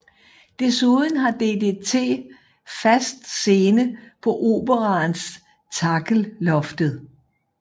Desuden har DDT fast scene på Operaens Takkellloftet